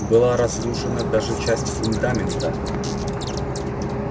была разрушена даже часть фундамента